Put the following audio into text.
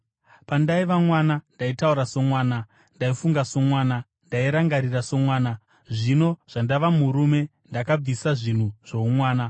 Pandaiva mwana ndaitaura somwana, ndaifunga somwana, ndairangarira somwana. Zvino zvandava murume, ndakabvisa zvinhu zvoumwana.